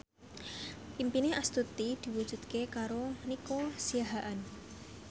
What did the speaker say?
impine Astuti diwujudke karo Nico Siahaan